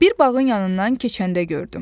Bir bağın yanından keçəndə gördüm.